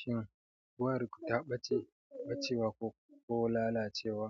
Shin wayarku ta ɓace, ɓacewa ko, ko lalacewa,